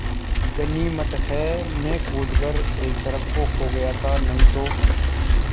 गनीमत है मैं कूद कर एक तरफ़ को हो गया था नहीं तो